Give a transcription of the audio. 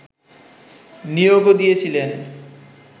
নিয়োগও দিয়েছিলেন